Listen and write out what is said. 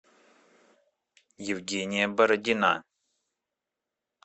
евгения бородина